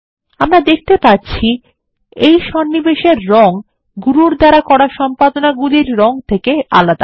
আমরা দেখতে পাচ্ছি এই সন্নিবেশ এর রং গুরুর দ্বারা করা সম্পাদনাগুলির রং থেকে আলাদা